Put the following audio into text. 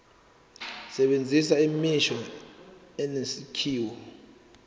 sebenzisa imisho enesakhiwo